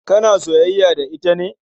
Kana soyayya da ita ne?